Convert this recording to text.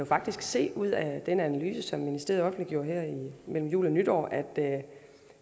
faktisk se ud af den analyse som ministeriet offentliggjorde her mellem jul og nytår